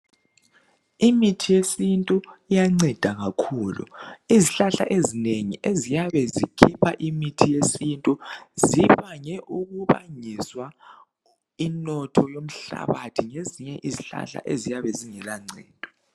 Imithi yesintu iyanceda kakhulu izihlahla ezinengi eziyabe zikhipha imithi yesintu zibange ukubangiswa inotho yomhlabathi ngezinye izihlahla eziyabe zingela ncedo.